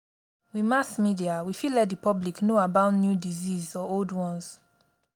with mass media we fit let di public know about new disease or old ones